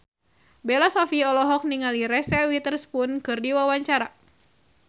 Bella Shofie olohok ningali Reese Witherspoon keur diwawancara